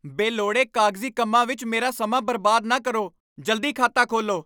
ਬੇਲੋੜੇ ਕਾਗਜ਼ੀ ਕੰਮਾਂ ਵਿੱਚ ਮੇਰਾ ਸਮਾਂ ਬਰਬਾਦ ਨਾ ਕਰੋ। ਜਲਦੀ ਖਾਤਾ ਖੋਲ੍ਹੋ!